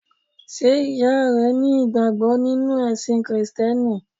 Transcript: Sé ìyá rẹ ní ìgbàgbọ́ nínú ẹ̀sìn Kìrìsìtíẹ́nì?